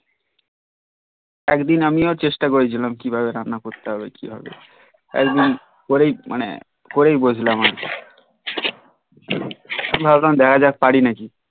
একদিন আমিও চেষ্টা করেছিলাম কিভাবে রান্না করতে কিভাবে একদিন করেই মানে করেই বসলাম আর কি ভাবলাম দেখা জাক পারি নাকি